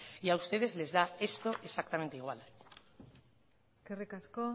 y a ustedes les da esto exactamente igual eskerrik asko